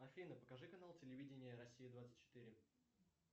афина покажи канал телевидения россия двадцать четыре